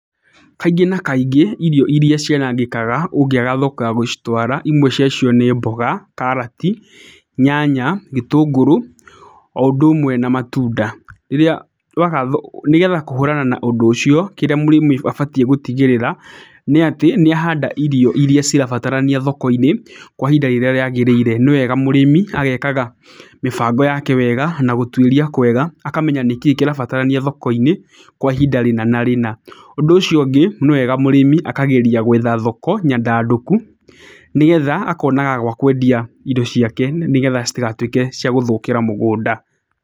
Kaingĩ na kaingĩ, irio irĩa cianangĩkaga ũngĩaga thoko ya gũcitwara imwe cia cio nĩ mboga, karati, nyanya, gĩtũngũrũ, o ũndũ ũmwe na matunda. Iria waaga thoko, nĩgetha kũhũrana na ũndũ ũcio, kĩrĩa mũrĩmi abatiĩ gũtigĩrĩra, nĩ atĩ, nĩ ahanda irio irĩa cirabatarania thoko-inĩ kwa ihinda rĩrĩa rĩagĩrĩire. Nĩ wega mũrĩmi, agekaga mĩbango yake wega na gũtuĩria kwega, akamenya nĩkĩ kĩrabatarania thoko-inĩ, kwa ihinda rĩna na rĩna. Ũndũ ũcio ũngĩ, nĩ wega mũrĩmi akageria gwetha thoko nyandandũku, nĩgetha akonaga gwa kwendia indo ciake, nĩgetha citigatuĩke cia gũthũkĩra mũgũnda.